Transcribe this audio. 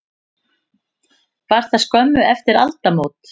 Var það skömmu eftir aldamót.